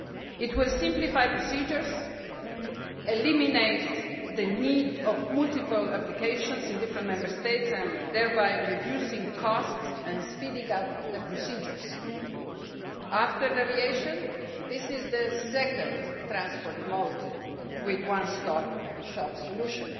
It will simplify procedures and eliminate the need for multiple applications in different Member States, thereby reducing costs and speeding up the procedures. After aviation this is the second transport mode with a one stop shop solution.